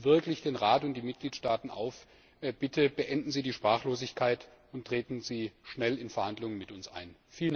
Ich rufe wirklich den Rat und die Mitgliedstaaten auf Bitte beenden Sie die Sprachlosigkeit und treten Sie schnell in Verhandlungen mit uns ein!